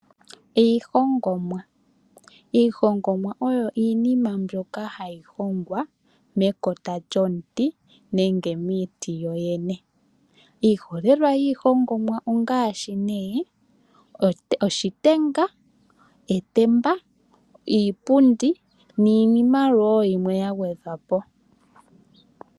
Iihongomwa oyo iinima mboka hayi hongwa mekota lyomuti nenge miiti yo yene. Iiholelwa yiihongomwa ongaashi nee oshitenga, etemba, iipundi niinima woo yimwe ya gwedhwa po.